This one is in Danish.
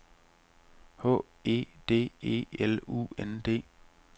H E D E L U N D